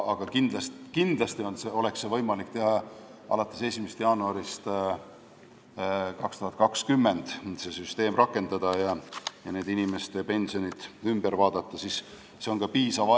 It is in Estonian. Aga kindlasti oleks võimalik seda süsteemi rakendada ja inimeste pensionid üle vaadata alates 1. jaanuarist 2020.